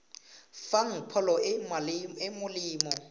fang pholo e e molemo